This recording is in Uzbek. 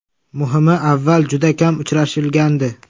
Muhimi, avval juda kam uchrashilgandi.